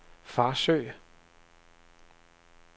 Farsø